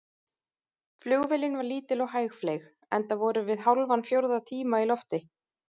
Flugvélin var lítil og hægfleyg, enda vorum við hálfan fjórða tíma í lofti.